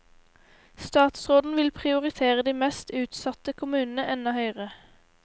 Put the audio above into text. Statsråden vil prioritere de mest utsatte kommunene enda høyere.